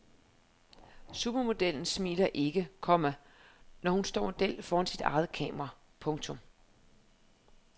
Supermodellen smiler ikke, komma når hun står model foran sit eget kamera. punktum